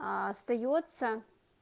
а остаётся